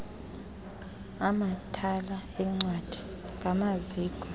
amathala eencwadi ngamaziko